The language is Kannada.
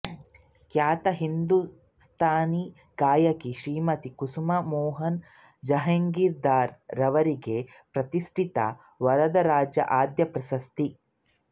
ಖ್ಯಾತ ಹಿಂದೂಸ್ಥಾನಿ ಗಾಯಕಿ ಶ್ರೀಮತಿ ಕುಸುಮ ಮೋಹನ ಜಹಾಗೀರ್ ದಾರ್ ರವರಿಗೆ ಪ್ರತಿಶ್ಠಿತ ವರದರಾಜ ಆದ್ಯ ಪ್ರಶಸ್ತಿ